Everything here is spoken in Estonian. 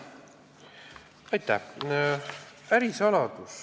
Aitäh!